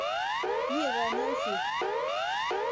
Mye kanyoiset.